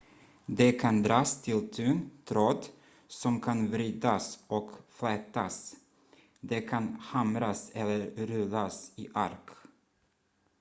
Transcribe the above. det kan dras till tunn tråd som kan vridas och flätas det kan hamras eller rullas i ark